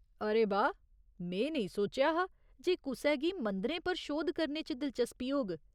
अरे बाह्, में नेईं सोचेआ हा जे कुसै गी मंदरें पर शोध करने च दिलचस्पी होग।